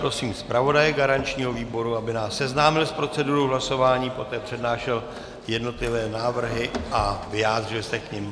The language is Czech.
Prosím zpravodaje garančního výboru, aby nás seznámil s procedurou hlasování, poté přednášel jednotlivé návrhy a vyjádřil se k nim.